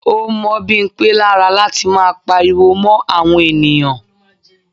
Ó mọ́ Bimpe lára láti máa pariwo mó àwọn ènìyàn.